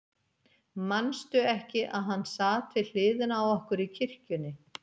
Manstu ekki að hann sat við hliðina á okkur í kirkjunni?